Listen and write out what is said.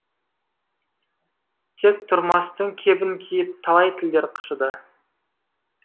тек тұрмастың кебін киіп талай тілдер қышыды